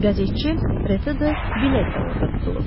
Qəzetçi Reto Billet də orada tutulub.